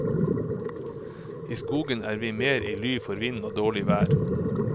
I skogen er vi mer i ly for vind og dårlig vær.